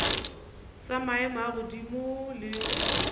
sa maemo a godimo le